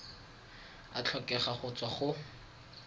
a tlhokega go tswa go